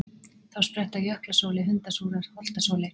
Þá spretta jöklasóley, hundasúra, holtasóley.